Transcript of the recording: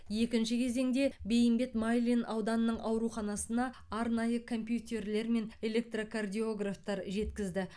екінші кезеңде бейімбет майлин ауданының ауруханасына арнайы компьютерлер мен электрокардиографтар жеткізді